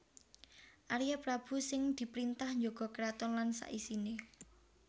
Arya Prabu sing diprintah njaga keraton lan sak isiné